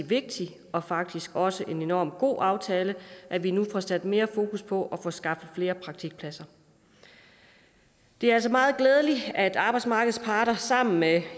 vigtig og faktisk også enormt god aftale at vi nu får sat mere fokus på at få skabt flere praktikpladser det er altså meget glædeligt at arbejdsmarkedets parter sammen med